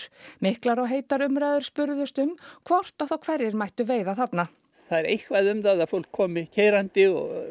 miklar og heitar umræður spunnust um hvort og þá hverjir mættu veiða þarna það er eitthvað um það að fólk komi keyrandi og